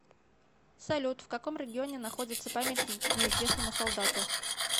салют в каком регионе находится памятник неизвестному солдату